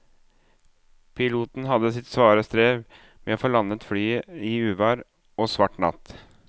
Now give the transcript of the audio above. Piloten hadde sitt svare strev med å få landet flyet i uvær og svart natt.